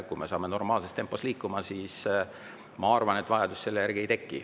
Kui me saame normaalses tempos liikuma, siis ma arvan, et vajadust selle järgi ei teki.